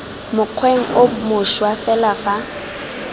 mokgweng o mošwa fela fa